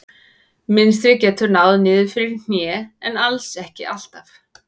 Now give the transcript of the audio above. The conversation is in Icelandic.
Mynstrið getur náð niður fyrir hné en alls ekki alltaf.